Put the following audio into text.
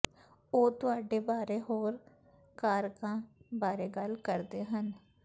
ਉਹ ਤੁਹਾਡੇ ਬਾਰੇ ਹੋਰ ਕਾੱਰਕਾਂ ਬਾਰੇ ਗੱਲ ਕਰਦੇ ਹਨ